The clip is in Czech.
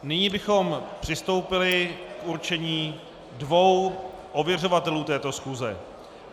Nyní bychom přistoupili k určení dvou ověřovatelů této schůze.